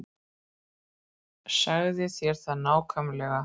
Sagði þér það nákvæmlega.